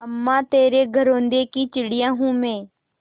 अम्मा तेरे घरौंदे की चिड़िया हूँ मैं